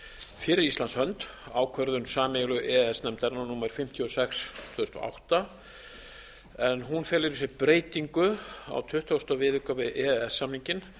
fyrir íslands hönd ákvörðun sameiginlegu e e s nefndarinnar númer fimmtíu og sex tvö þúsund og átta en hún felur í sér breytingu á tuttugasta viðauka við e e s samninginn